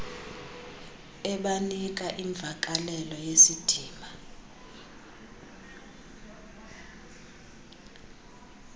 ebanika imvakalelo yesidima